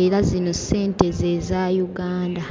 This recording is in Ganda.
era zino ssente ze za Uganda.